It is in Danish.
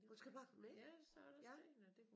Hun skal bare komme med ja